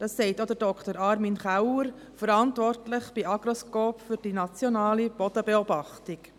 Das sagt auch Dr. Armin Keller, Verantwortlicher bei Agroscope für die nationale Bodenbeobachtung.